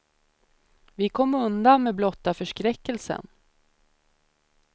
Vi kom undan med blotta förskräckelsen.